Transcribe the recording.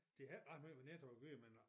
De har ikke ret meget med Netto at gøre men nu jeg